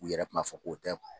U yɛrɛ kun m'a fɔ k'o tɛ